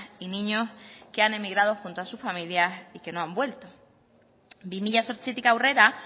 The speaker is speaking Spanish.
y niños que han emigrado junto a su familia y que no han vuelto bi mila zortzitik aurrera